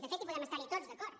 de fet podem estarhi tots d’acord